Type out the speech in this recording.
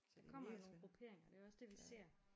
Der kommer jo nogle grupperinger det er også det vi ser